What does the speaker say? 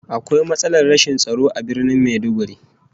Akwai matsalar rashin tsaro a Birnin Maiduguri